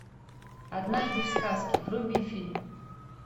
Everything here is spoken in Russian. однажды в сказке вруби фильм